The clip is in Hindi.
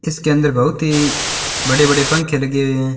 इसके अंदर बहुत ही बड़े बड़े पंखे लगे हुए हैं।